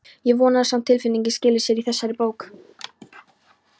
Ég vona að sama tilfinning skili sér í þessari bók.